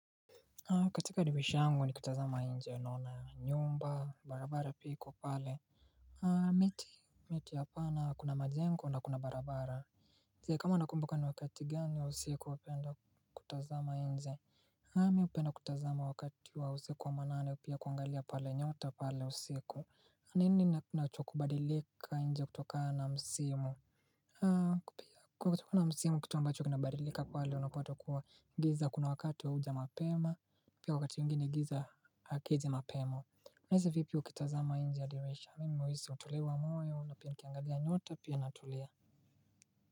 Katika dirisha yangu nikitazama nje, Naona nyumba, barabara pia iko pale. Miti, miti hapana. Kuna majengo na kuna barabara. Zi kama nakumbuka ni wakati gani wa usiku napenda kutazama nje. Mi hupenda kutazama wakati wa usiku wa manane au pia kuangalia pale nyota pale usiku. Nini nachokubadilika nje kutokana msimu. Kutokana na msimu kitu ambacho kinabadilika pale unapato kuwa giza kuna wakati wa huja mapema. Pia wakati mwingine giza hakiji mapema. Unahisi vipi ukitazama nje ya dirisha? Mimi huhisi utulivu wa moyo na pia nikiangalia nyota pia natulia.